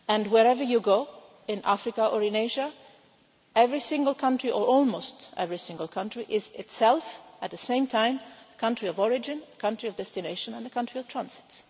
And wherever you go in Africa or in Asia, every single country, or almost every single country, is itself at the same time a country of origin, a country of destination and a country of transit.